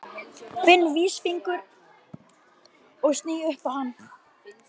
Finn vísifingur og sný upp á hann.